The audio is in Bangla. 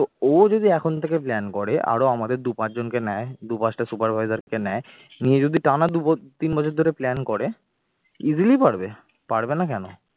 তো ও যদি এখন থেকে plan করে আরো আমাদের দু পাঁচজনকে নেয় দু পাঁচটা supervisor কে নেয় নিয়ে যদি টানা দুই বছর তিন বছর ধরে plan করে easily পারবে, পারবে না কেন